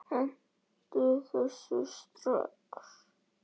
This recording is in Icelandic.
Hentu þessu strax!